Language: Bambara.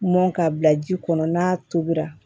Mɔn ka bila ji kɔnɔ n'a tobira